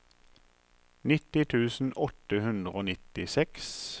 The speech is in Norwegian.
nitti tusen åtte hundre og nittiseks